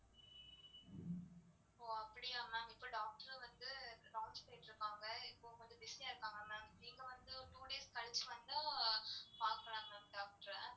ஓ. அப்டியா ma'am இப்போ doctor வந்து rounds போயிட்டு இருக்காங்க இப்போ கொஞ்சம் busy ஆ இருப்பாங்க ma'am நீங்க வந்து two days கழிச்சி வந்தா பாக்கலாம் mam doctor அ.